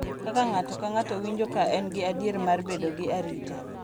Kaka ng’ato ka ng’ato winjo ka en gi adier mar bedo gi arita